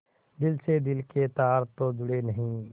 दिल से दिल के तार तो जुड़े नहीं